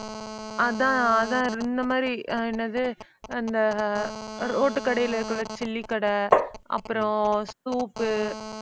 அதான் அதான் இந்த மாதிரி ஆஹ் என்னது அந்த அஹ் அஹ் ரோட்டு கடையில இருக்கும்ல chilli கடை அப்புறம் soup உ